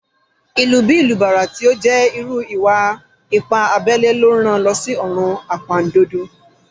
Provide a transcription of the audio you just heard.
Ìlù bí ìlù bàrà tí ó jẹ́ irú ìwà-ipá abẹ́lẹ́ ló rán an lọ sí ọ̀run àpàndodo